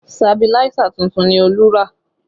Sabiláísà tuntun ni Olú rà